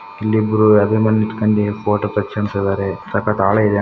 ಇಲ್ಲಿ ಇಬ್ಬರು ಎದರದೋ ಮೇಲೆ ನಿಂತ್ಕೊಂಡಿ ಫೋಟೋ ತೆಗೆಸ್ಕೊಣ್ತಿದ್ದಾರೆ ಸಕತ್ ಆಳ ಇದೆ.